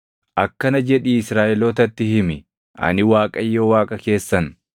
“Akkana jedhii Israaʼelootatti himi; ‘Ani Waaqayyo Waaqa keessan.